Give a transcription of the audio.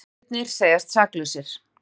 Bræðurnir segjast saklausir